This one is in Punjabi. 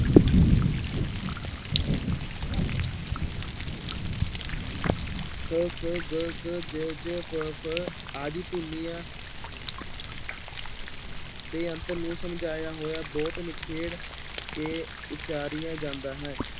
ਕ, ਖ, ਗ, ਘ, ਜ, ਝ, ਪ, ਫ ਆਦਿ ਧੁਨੀਆਂ ਦੇ ਅੰਤਰ ਨੂੰ ਸਮਝਾਇਆ ਹੋਇਆ ਬਹੁਤ ਨਿਖੇੜ ਕੇ ਉਚਾਰੀਆ ਜਾਂਦਾ ਹੈ।